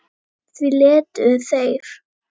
Því létu þeir